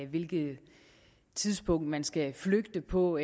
hvilket tidspunkt man skal flygte på